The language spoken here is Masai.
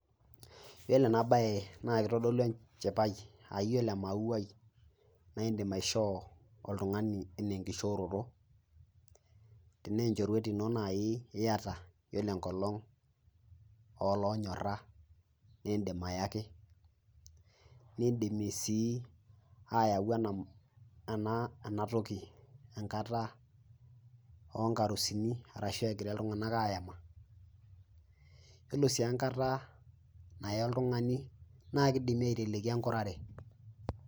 Iyiolo ena bae naa keitodolu enchipai aa iyiolo emauai naa indim aishoo oltung'ani ana enkishooroto, tena enchorwet ino naaji iata yiolo enkolong' oloonyora naa indim ayaki, nindimi sii ayau ena toki enkata o nkarusini arashu egira iltung'ana ayama, yiolo sii enkata naye oltung'ani nake eidimi aiteleki enkurare.